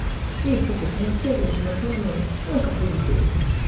и похожа на трезвую что на пьяную ну а как узбек